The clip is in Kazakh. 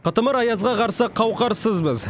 қытымыр аязға қарсы қауқарсызбыз